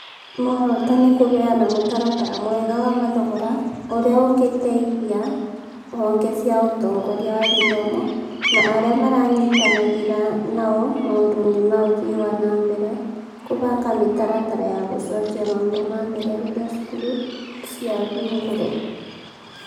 Muoroto nĩ kũheana mũtaratara mwega wa mathogora ũria ũngĩteithia honge cia ũtongoria wa gĩthomo na arĩa maranyitanagĩra nao maũndũ-inĩ ma ũthii wa na mbere kũbanga mĩtaratara ya gũcokia maũndũ na mbere rĩrĩa cukuru ciahingũrwo.